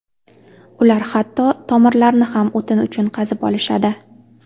Ular hatto tomirlarni ham o‘tin uchun qazib olishadi.